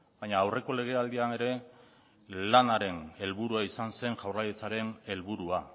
baina aurreko legealdian ere lanaren helburua izan zen jaurlaritzaren helburua